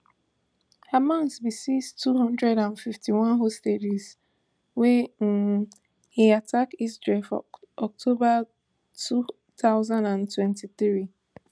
hamas bin seize two hundred and fifty-one hostages wen um e attack israel for october two thousand and twenty-three